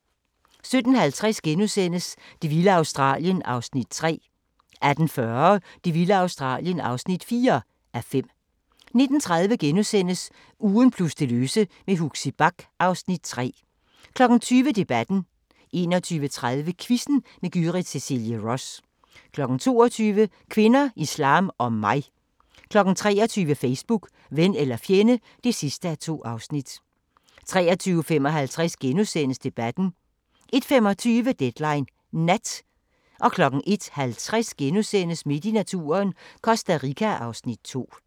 17:50: Det vilde Australien (3:5)* 18:40: Det vilde Australien (4:5) 19:30: Ugen plus det løse med Huxi Bach (Afs. 3)* 20:00: Debatten 21:30: Quizzen med Gyrith Cecilie Ross 22:00: Kvinder, islam og mig 23:00: Facebook – ven eller fjende (2:2) 23:55: Debatten * 01:25: Deadline Nat 01:50: Midt i naturen - Costa Rica (Afs. 2)*